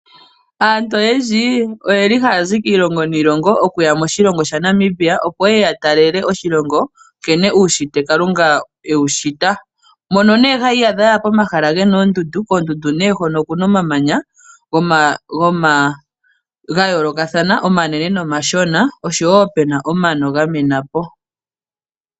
Aantu oyendji ohaya zi kiilongo niilongo haye ya moshilongo shaNamibia opo ye ye ya talele oshilongo nkene uushitwe Kalunga e wu shita, mono haya iyadha yaya pomahala pu na oondundu, koondundu hono okuna omamanya ga yoolokathana omanene nomashona, osho woo pu na omano gamena po.